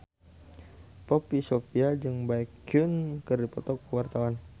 Poppy Sovia jeung Baekhyun keur dipoto ku wartawan